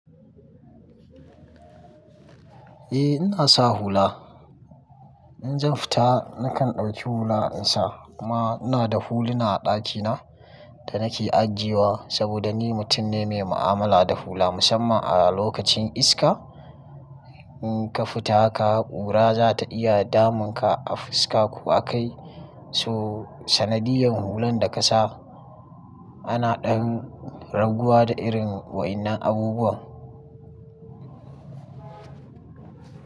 Eh, ina sa hula. In zan fita nakan ɗauki hula in sa kuma ina da huluna a ɗakina da nake ajiyewa saboda ni mutum ne mai mu'amala da hula musamman a lokacin iska. In ka fita ka ƙura za ta iya damun ka a fuska ko a kai, so sanadiyan hulan da ka sa ana ɗan raguwa da irin waɗannan abubuwan.